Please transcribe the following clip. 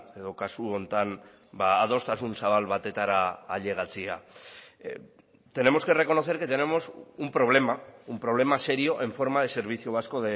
edo kasu honetan adostasun zabal batetara ailegatzea tenemos que reconocer que tenemos un problema un problema serio en forma de servicio vasco